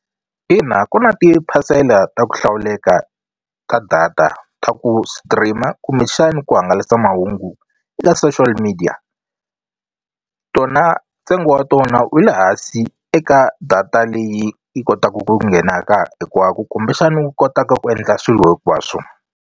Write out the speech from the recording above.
Ina ku na tiphasela ta ku hlawuleka ka data ta ku stream-a kumbexani ku hangalasa mahungu ka social media tona ntsengo wa tona wu le hansi eka data leyi yi kotaku ku nghenaka hikuva ku kumbexani u kotaka ku endla swilo hinkwaswo.